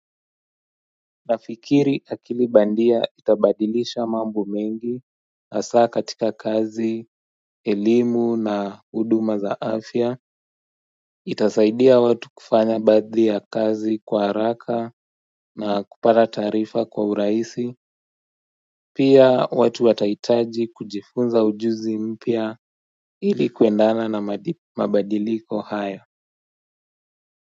Nafikiri akili bandia itabadilisha mambo mengi hasa katika kazi, elimu na huduma za afya, itasaidia watu kufanya baadhi ya kazi kwa haraka na kupata taarifa kwa urahisi, pia watu watahitaji kujifunza ujuzi mpya ili kuendana na mabadiliko haya.